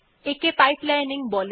একে পাইপলাইনিং বলা হয়